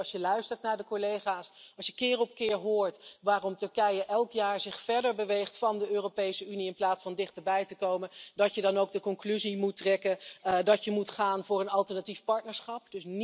Ik denk, als je luistert naar de collega's, als je keer op keer hoort waarom Turkije zich elk jaar verder beweegt van de Europese Unie in plaats van dichterbij te komen, dat je dan ook de conclusie moet trekken dat je moet gaan voor een alternatief partnerschap.